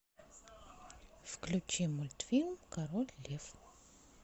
включи мультфильм король лев